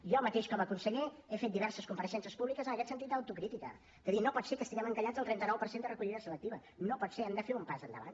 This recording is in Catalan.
jo mateix com a conseller he fet diverses compareixences públiques en aquest sentit d’autocrítica de dir no pot ser que estiguem encallats al trenta nou per cent de recollida selectiva no pot ser hem de fer un pas endavant